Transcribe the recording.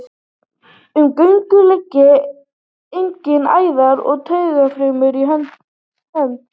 Um göngin liggja einnig æðar og taugar fram í hönd.